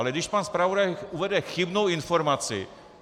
Ale když pan zpravodaj uvede chybnou informaci?